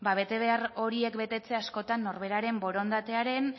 ba betebehar horiek betetzea askotan norberaren borondatearen